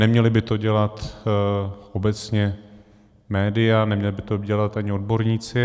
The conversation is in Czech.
Neměla by to dělat obecně média, neměli by to dělat ani odborníci.